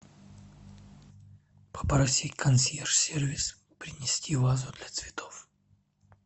попроси консьерж сервис принести вазу для цветов